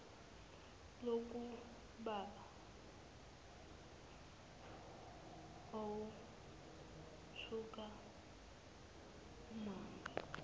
lukababa owethuka umame